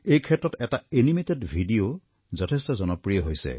এই ক্ষেত্ৰত এটা এনিমেটেড ভিডিঅ যথেষ্ট জনপ্ৰিয় হৈছে